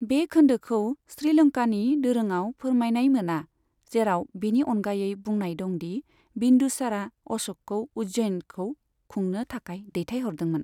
बे खोन्दोखौ श्रीलंकानि दोरोंआव फोरमायनाय मोना, जेराव बिनि अनगायै बुंनाय दं दि बिन्दुसारा अश'कखौ उज्जैनखौ खुंनो थाखाय दैथायहरदोंमोन।